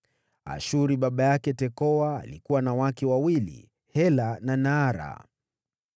Ashuri baba yake Tekoa alikuwa na wake wawili, Hela na Naara.